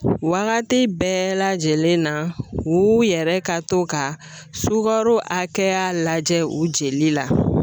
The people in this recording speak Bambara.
Wagati bɛɛ lajɛlen na u yɛrɛ ka to ka sukaro hakɛya lajɛ u jeli la